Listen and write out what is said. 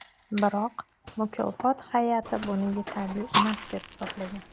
Biroq mukofot hay’ati buni yetarli emas deb hisoblagan.